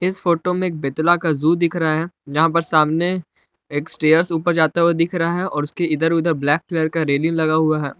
इस फोटो में एक बेतला का जू दिख रहा है जहाँ पर सामने एक स्टेयर्स ऊपर जाता दिख रहा है और उसके इधर उधर ब्लैक कलर का रेलिंग लगा हुआ है।